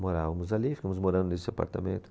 Morávamos ali, ficamos morando nesse apartamento.